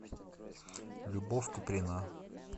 любовь куприна